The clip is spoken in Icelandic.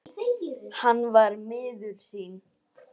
Hann var miður sín.